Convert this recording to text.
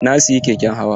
Na siyi keken hawa.